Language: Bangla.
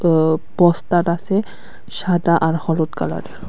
ও বস্তাটা আছে সাদা আর হলুদ কালারের।